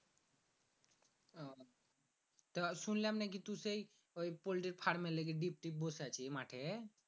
তো শুনলাম নাকি তুই সেই ঐ ফল্টির ফার্মের লাইগে ড্রিপ ট্রিপ বসাইছিস মাঠে?